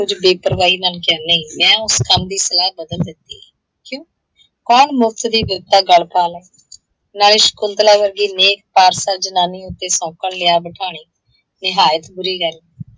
ਬੇਪਰਵਾਹੀ ਨਾਲ ਚੈਨ ਲਈ ਮੈਂ ਉਸ ਕੰਮ ਦੀ ਸਲਾਹ ਬਦਲ ਦਿੱਤੀ। ਕਿਉਂ? ਕੌਣ ਮੁਫ਼ਤ ਦੀ ਵਿਪਤਾ ਗੱਲ ਪਾ ਲਏ। ਨਾਲੇ ਸ਼ਕੁੰਤਲਾ ਵਰਗੀ ਨੇਕ, ਸਾਫ਼ ਦਿਲ ਜਨਾਨੀ ਉੱਤੇ ਸੌਂਕਣ ਲਿਆ ਬਿਠਾਣੀ, ਨਿਹਾਇਤ ਬੁਰੀ ਗੱਲ